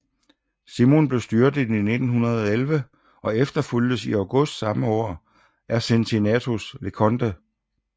Simon blev styrtet i juli 1911 og efterfulgtes i august samme år af Cincinnatus Leconte